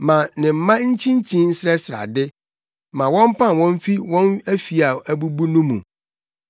Ma ne mma nkyinkyin nsrɛsrɛ ade; ma wɔmpam wɔn mfi wɔn afi a abubu no mu.